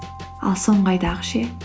ал соңғы айдағы ше